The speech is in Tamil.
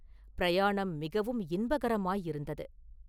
பிரயாணம் மிகவும் இன்பகரமாயிருந்தது.